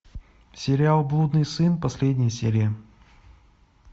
сериал блудный сын последняя серия